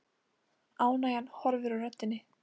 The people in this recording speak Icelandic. Ánægjan horfin úr röddinni.